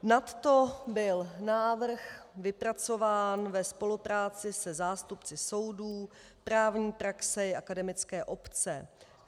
Nadto byl návrh vypracován ve spolupráci se zástupci soudů, právní praxe i akademické obce.